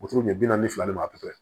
Wotoro ɲɛ bi naani ni fila ni ma porotɛ